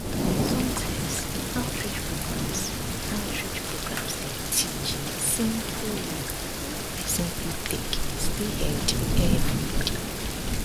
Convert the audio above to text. sometimes outreach programs outreach programs dey teach simple way wey person fit take stay healthy every day